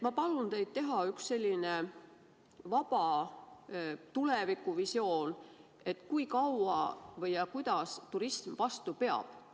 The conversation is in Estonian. Ma palun teid teha üks selline vaba tulevikuvisioon, et kui kaua või kuidas turism vastu peab.